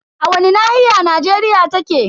A wani nahiya Najeriya take?